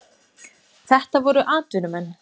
Þetta voru atvinnumenn.